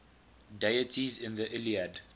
deities in the iliad